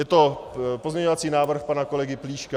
Je to pozměňovací návrh pana kolegy Plíška.